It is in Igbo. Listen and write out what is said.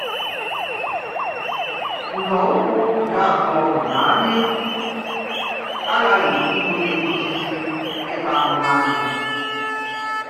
Nzọụ̀kwụ̀ nke ábụ̀ọ bụ̀ na ányị̀ àghàghì ibùlì òsísí ị́tà àhùhù́ ányị̀.